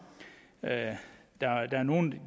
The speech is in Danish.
at der er nogle